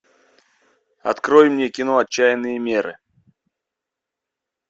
открой мне кино отчаянные меры